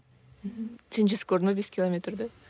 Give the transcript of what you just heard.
мхм сен жүзіп көрдің бе бес километрді